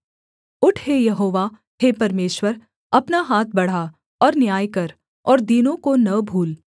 उठ हे यहोवा हे परमेश्वर अपना हाथ बढ़ा और न्याय कर और दीनों को न भूल